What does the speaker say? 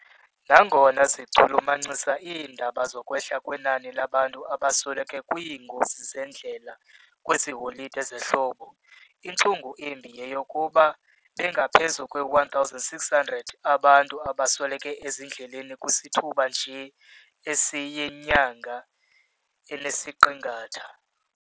Nangona zichulumancisa iindaba zokwehla kwenani labantu abasweleke kwiingozi zendlela kwezi holide zehlobo, intlungu embi yeyokuba bangaphezu kwe-1,600 abantu abasweleke ezindleleni kwisithuba nje esiyinyanga enesiqingatha.